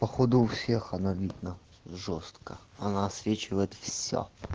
походу у всех она видна жёстко она освечивает всё